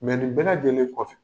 Mɛ nin bɛ lajɛlenlen kɔfɛ